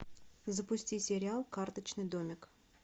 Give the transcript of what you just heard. запусти сериал карточный домик